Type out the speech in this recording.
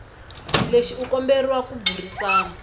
lexi u komberiwa ku burisana